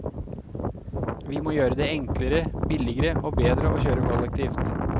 Vi må gjøre det enklere, billigere og bedre å kjøre kollektivt.